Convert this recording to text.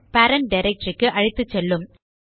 parent directory க்கு அழைத்துசெல்லும்